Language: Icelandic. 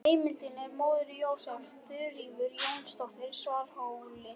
Heimildin er móðir Jósefs, Þuríður Jónsdóttir á Svarfhóli.